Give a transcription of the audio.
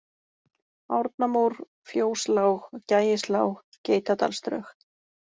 Árnamór, Fjóslág, Gægislág, Geitadalsdrög